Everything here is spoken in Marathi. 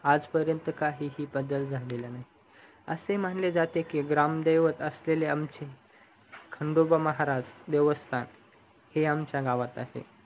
आजपरियांत काहीही बदल झालेला नाही असे मानले जाते की रामदेवड असलेले आमचे खंडोबा महाराज देवस्तान हे आमच्या गावात आहे